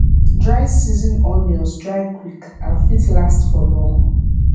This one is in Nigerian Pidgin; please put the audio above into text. dry season onions dry quick and fit last for long